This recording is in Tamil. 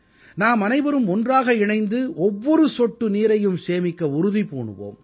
நாமனைவரும் ஒன்றாக இணைந்து ஒவ்வொரு சொட்டு நீரையும் சேமிக்க உறுதி பூணுவோம்